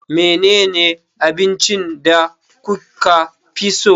Menene abincin da kuka fi so?